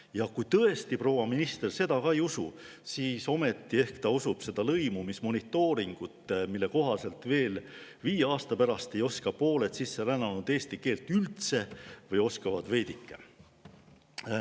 Ja kui tõesti proua minister seda ka ei usu, siis ometi ehk usub ta seda lõimumismonitooringut, mille kohaselt ei oska pooled sisserännanud viie aasta pärast veel eesti keelt üldse või oskavad veidike.